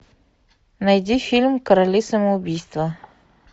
найди фильм короли самоубийства